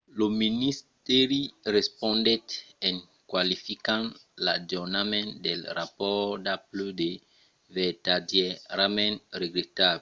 lo ministèri respondèt en qualificant l'ajornament del rapòrt d'apple de vertadièrament regretable.